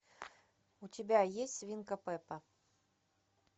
у тебя есть свинка пеппа